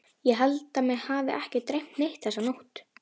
Ég held að mig hafi ekki dreymt neitt þessa nótt.